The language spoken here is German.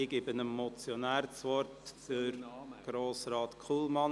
Ich gebe das Wort dem Motionär, Grossrat Kullmann.